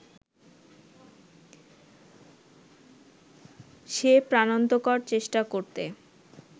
সে প্রাণান্তকর চেষ্টা করতে